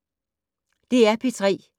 DR P3